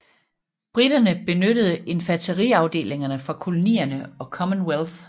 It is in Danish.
Briterne benyttede infanteriafdelinger fra kolonierne og Commonwealth